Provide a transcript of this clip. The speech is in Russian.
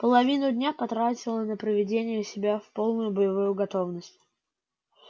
половину дня потратила на приведение себя в полную боевую готовность